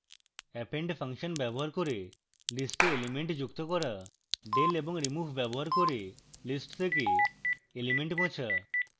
append function ব্যবহার করে list এ elements যুক্ত করা